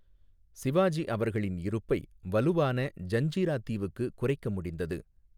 சிவாஜி அவர்களின் இருப்பை வலுவான ஜன்ஜிரா தீவுக்கு குறைக்க முடிந்தது.